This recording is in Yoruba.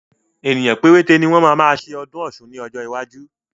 Ènìyàn péréte ni wọn máa ma ṣe ọdún Ọ̀sun ni ọjọ́ iwájú.